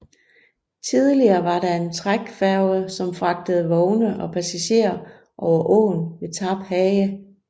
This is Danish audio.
Tidligere var der en trækfærge som fragtede vogne og passagerer over åen ved Tarphage